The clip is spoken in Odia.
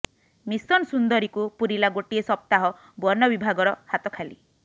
ମିଶନ୍ ସୁନ୍ଦରୀକୁ ପୁରିଲା ଗୋଟିଏ ସପ୍ତାହ ବନବିଭାଗର ହାତ ଖାଲି